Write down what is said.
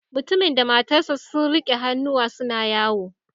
Mutumin da matarsa ​​sun rike hannuwa suna yawo